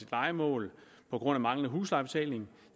lejemål på grund af manglende huslejebetaling